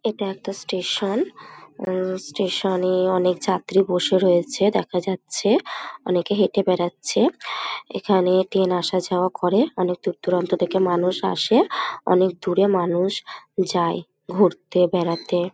এটা একটা স্টেশান উম স্টেশানে অনেক যাত্রী বসে রয়েছে দেখা যাচ্ছে । অনেকে হেটে বেরাচ্ছে এখানে ট্রেন আসা যাওয়া করে অনেক দূরদূরান্ত থেকে মানুষ আসে অনেক দূরে মানুষ যায় ঘুরতে বেড়াতে।